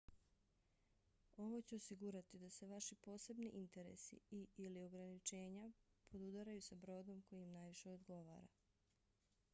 ovo će osigurati da se vaši posebni interesi i/ili ograničenja podudaraju sa brodom koji im najviše odgovara